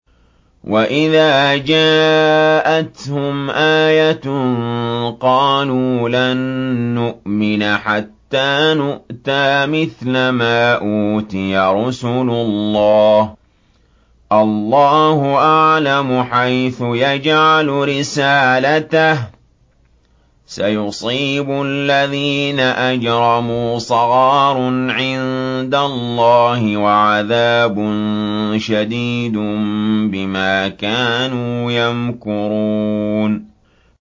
وَإِذَا جَاءَتْهُمْ آيَةٌ قَالُوا لَن نُّؤْمِنَ حَتَّىٰ نُؤْتَىٰ مِثْلَ مَا أُوتِيَ رُسُلُ اللَّهِ ۘ اللَّهُ أَعْلَمُ حَيْثُ يَجْعَلُ رِسَالَتَهُ ۗ سَيُصِيبُ الَّذِينَ أَجْرَمُوا صَغَارٌ عِندَ اللَّهِ وَعَذَابٌ شَدِيدٌ بِمَا كَانُوا يَمْكُرُونَ